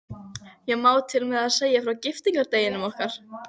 Einna stærstir eru jökulgarðar við Kvíár- og Gígjökul.